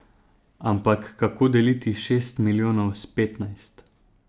Ampak kako deliti šest milijonov s petnajst?